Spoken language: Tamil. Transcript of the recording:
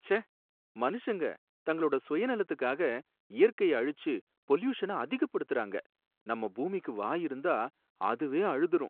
ச்சே! மனுஷங்க தங்களோட சுயநலத்துக்காக இயற்கைய அழிச்சு பொல்யூஷன அதிகப்படுத்தறாங்க, நம்ம பூமிக்கு வாய் இருந்தா அதுவே அழுதுரும்